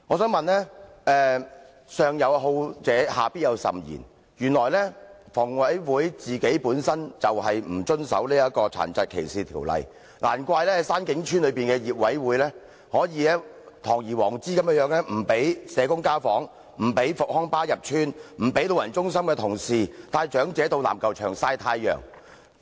正所謂"上有所好，下必甚焉"，房委會本身就不遵守《殘疾歧視條例》，難怪山景邨的管委會可堂而皇之不讓社工進行家訪，不讓復康巴士入邨，不讓老人中心的同事帶長者到籃球場曬太陽。